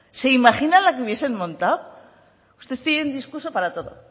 se imaginan la que hubiesen montado ustedes tienen un discurso para todo